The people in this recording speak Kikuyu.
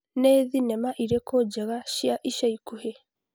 nĩ thenema irĩkũ njega cia ica ikuhĩ